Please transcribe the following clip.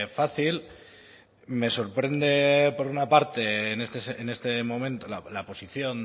fácil me sorprende por una parte en este momento la posición